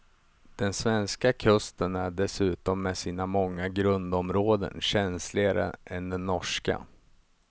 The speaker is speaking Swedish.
Den svenska kusten är dessutom med sina många grundområden känsligare än den norska.